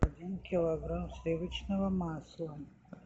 один килограмм сливочного масла